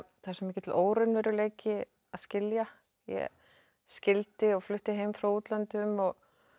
það er svo mikill óraunveruleiki að skilja ég skildi og flutti heim frá útlöndum og